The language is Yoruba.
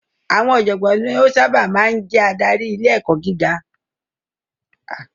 Àwọn ọ̀jọ̀gbọ́n ni ó sábà máa ń ń jẹ́ adarí ilé ẹ̀kọ́ gíga.